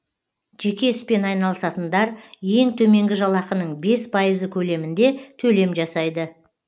жеке іспен айналысатындар ең төменгі жалақының бес пайызы көлемінде төлем жасайды